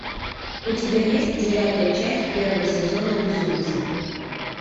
у тебя есть девятая часть первого сезона безумцы